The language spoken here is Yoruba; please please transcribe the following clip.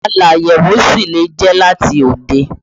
Aláyẹ̀wò sì lè jẹ́ láti òde